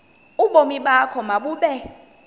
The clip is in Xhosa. ubomi bakho mabube